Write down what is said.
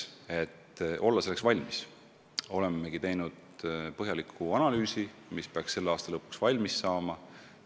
Et selleks valmis olla, olemegi teinud põhjaliku analüüsi, mis peaks selle aasta lõpuks valmis saama.